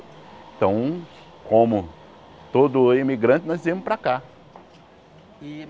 Então, como todo imigrante, nós viemos para cá.